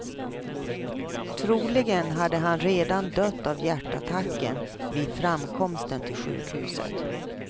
Troligen hade han redan dött av hjärtattacken vid framkomsten till sjukhuset.